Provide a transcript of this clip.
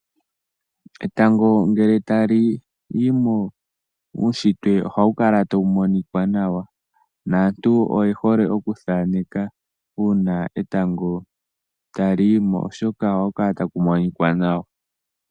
Etango ngele tali yimo uushitwe ohawu kala tawu monika nawa, naantu oyehole Oku thaneka uuna etango tali yimo oshoka ohaku kala taku monika nawa